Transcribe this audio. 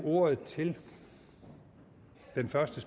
ordet til den første